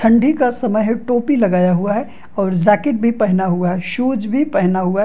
ठंडी का समय है टोपी लगाया हुआ है और जाकेट भी पहना हुआ है शूज भी पहना हुआ है।